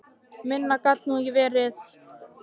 Minna gat það nú ekki verið.